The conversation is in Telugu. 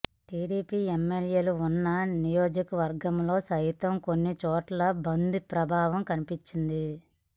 టీడీపీ ఎమ్మెల్యేలు ఉన్న నియోజకవర్గాల్లో సైతం కొన్ని చోట్ల బంద్ ప్రభావం కనిపించింది